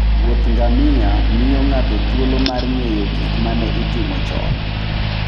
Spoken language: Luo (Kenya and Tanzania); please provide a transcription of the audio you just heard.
Wuoth ngamia miyo ng'ato thuolo mar ng'eyo gik ma ne itimo chon.